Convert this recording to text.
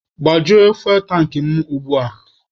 Gbajuo fuwel tankị mụ ugbua!